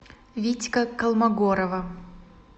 витька колмогорова